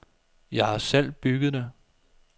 Jeg har selv bygget det.